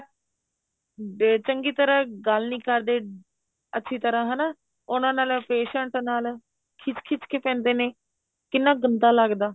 day ਚੰਗੀ ਤਰ੍ਹਾਂ ਗੱਲ ਨੀ ਕਰਦੇ ਅੱਛੀ ਤਰ੍ਹਾਂ ਹਨਾ ਉਹਨਾ ਨਾਲ patient ਨਾਲ ਖਿੱਜ ਖਿੱਜ ਕੇ ਪੈਂਦੇ ਨੇ ਕਿੰਨਾ ਗੰਦਾ ਲੱਗਦਾ